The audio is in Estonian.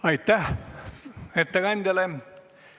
Aitäh ettekandjale!